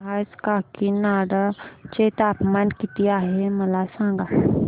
आज काकीनाडा चे तापमान किती आहे मला सांगा